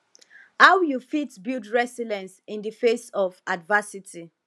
how you fit build resilience in di face of adversity